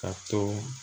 Ka to